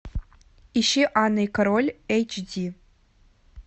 ищи анна и король эйч ди